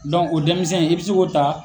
o denmizɛn i bɛ se k'o ta